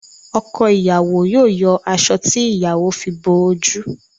Ọkọ ìyàwó yóò yọ aṣọ tí ìyàwó fi bo oju